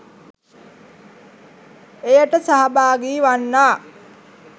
එයට සහභාගී වන්නා